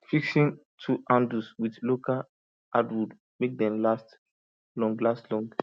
fixing tool handles with local hardwood make dem last longer last longer